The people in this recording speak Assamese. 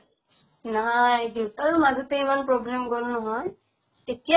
নাই, দেউতাৰো মাজতে ইমান problem গʼল নহয় । এতিয়া